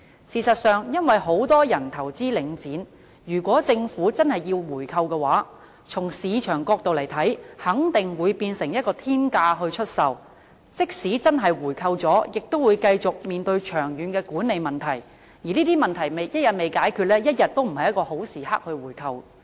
事實上，因為很多人投資領展，如果政府真的要進行回購的話，從市場角度來看，肯定會以天價出售，即使真的回購了，亦會繼續面對長遠的管理問題，而這些問題一天未解決，一天都不是回購的好時機。